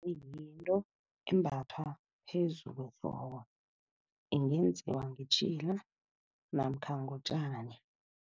Kuyinto embathwa phezu kwehloko, ingenziwa ngetjhila namkha ngotjani.